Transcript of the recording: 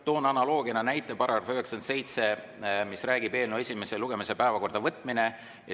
Toon analoogiana näiteks § 97, mis räägib eelnõu esimese lugemise päevakorda võtmisest.